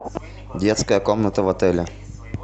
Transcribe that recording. детская комната в отеле